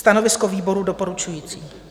Stanovisko výboru doporučující.